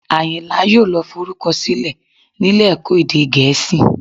Àyìnlá yóò lọ forúkọ sílẹ̀ nílé ẹ̀kọ́ èdè Gẹ̀ẹ́sì